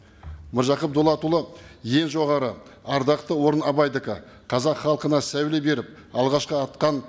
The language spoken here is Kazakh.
мыржақып дулатұлы ең жоғары ардақты орын абайдікі қазақ халқына сәуле беріп алғашқы атқан